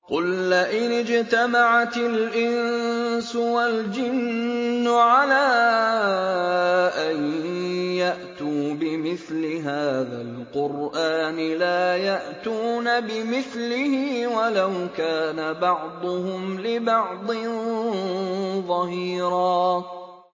قُل لَّئِنِ اجْتَمَعَتِ الْإِنسُ وَالْجِنُّ عَلَىٰ أَن يَأْتُوا بِمِثْلِ هَٰذَا الْقُرْآنِ لَا يَأْتُونَ بِمِثْلِهِ وَلَوْ كَانَ بَعْضُهُمْ لِبَعْضٍ ظَهِيرًا